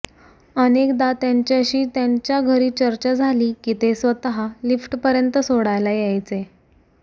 अनेकदा त्यांच्याशी त्यांच्या घरी चर्चा झाली की ते स्वतः लिफ्टपर्यंत सोडायला यायचे